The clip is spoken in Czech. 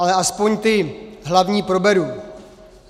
Ale aspoň ty hlavní proberu.